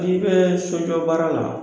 N'i bɛ soɲɔ baara la